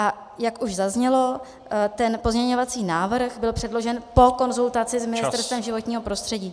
A jak už zaznělo, ten pozměňovací návrh byl předložen po konzultaci s Ministerstvem životního prostředí.